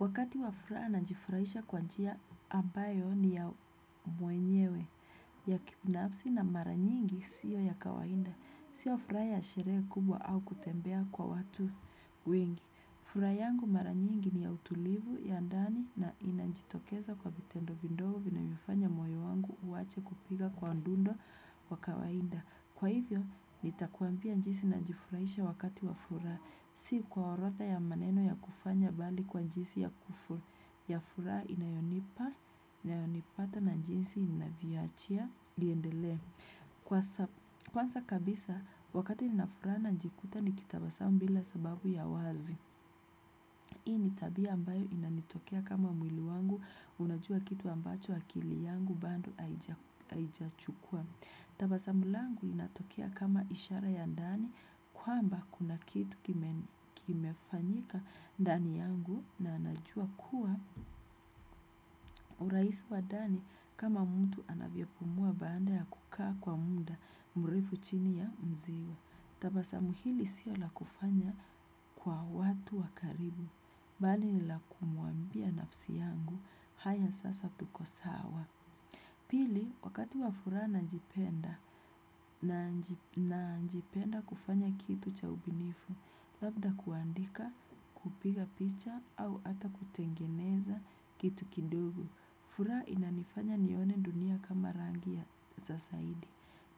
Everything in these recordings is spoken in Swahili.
Wakati wafra najifurahisha kwa njia ambayo ni ya mwenyewe ya kipnapsi na mara nyingi siyo ya kawainda. Sio furaa ya sheree kubwa au kutembea kwa watu wengi. Furaa yangu mara nyingi ni ya utulivu ya ndani na inanjitokeza kwa vitendo vindogu vinavyofanya moyo wangu uache kupiga kwa ndundo wa kawainda. Kwa hivyo, nitakuambia njisi nanjifurahisha wakati wa furaa, si kwa orotha ya maneno ya kufanya bali kwa njisi ya furaa inayonipa, inayonipata na njisi inaviachia, liendele. Kwanza kabisa, wakati ninafuraa nanjikuta nikitabasamu bila sababu ya wazi. Hii ni tabia ambayo inanitokea kama mwili wangu, unajua kitu ambacho akili yangu bando aijachukua. Tabasamu langu linatokea kama ishara ya ndani kwamba kuna kidu kimefanyika ndani yangu na najua kuwa uraisi wa dani kama mtu anavyo pumua baada ya kukaa kwa mda mrefu chini ya mziwa. Tabasamu hili sio la kufanya kwa watu wakaribu, bali ni la kumuambia nafsi yangu haya sasa tuko sawa. Pili, wakati wa furaa nanjipenda, nanjipenda kufanya kitu cha ubinifu, labda kuandika kupiga picha au ata kutengeneza kitu kidugu. Furaa inanifanya nione dunia kama rangi ya za saidi.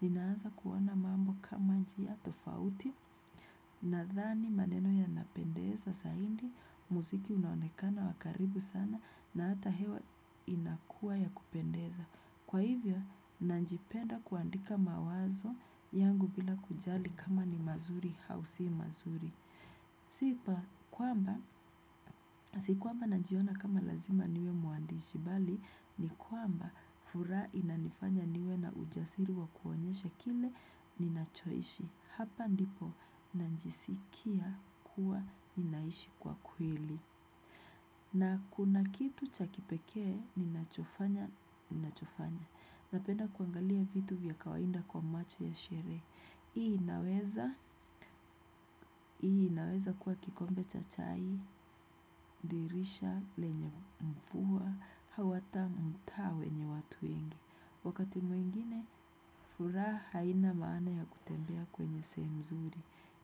Ninaanza kuona mambo kama njia tofauti nathani maneno yanapendeza saidi, muziki unaonekana wakaribu sana na ata hewa inakua ya kupendeza. Kwa hivyo, nanjipenda kuandika mawazo yangu bila kujali kama ni mazuri hau si mazuri. Sipa, kwamba, sikuamba nanjiona kama lazima niwe mwandishi, bali ni kwamba furaa inanifanya niwe na ujasiri wa kuonyesha kile ninachoishi. Hapa ndipo nanjisikia kuwa ninaishi kwa kwili. Na kuna kitu cha kipekee, ninachofanya, ninachofanya. Napenda kwangalia vitu vya kawainda kwa macho ya sheree. Hii inaweza, hii inaweza kuwa kikombe cha chai, dirisha, lenye mfuwa, hau ata mtaa wenye watu wengi. Wakati mwingine, furaha ina maana ya kutembea kwenye seemu mzuri.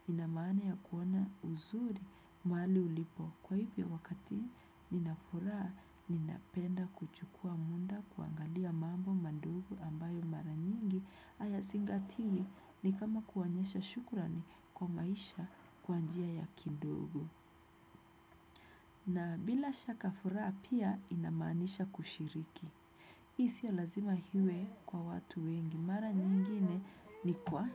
Ina maana ya kuona uzuri, maali ulipo. Kwa hivyo wakati ninafuraa ninapenda kuchukua munda kuangalia mambo mandogu ambayo mara nyingi haya zingatiwi ni kama kuonyesha shukurani kwa maisha kwanjia ya kindogo. Na bila shaka furaa pia inamaanisha kushiriki. I sio lazima hiwe kwa watu wengi mara nyingine ni kwa.